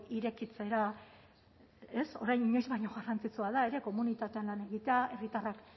irekitzera ez orain baino garrantzitsua da ere komunitatean lan egitea herritarrak